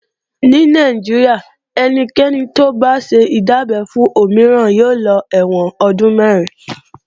Ní Nàìjíríà ẹnikẹ́ni tó bá ṣe ìdábẹ́ fún òmíràn yóò lọ ẹ̀wọ̀n ọdún mẹ̀rin